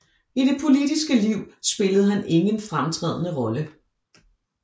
I det politiske liv spillede han ingen fremtrædende rolle